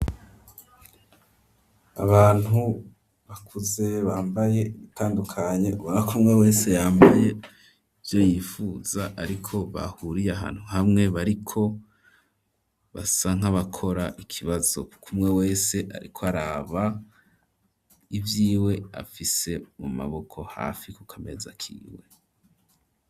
Abantu bakuze bambaye ibitandukanye, ubona ko umwe wese yambaye ivyo yifuza, ariko bahuriye ahantu hamwe, bariko basa nk'abakora ikibazo, kuko umwe wese ariko araba ivyiwe afise mu maboko, hafi ku kameza kiwe.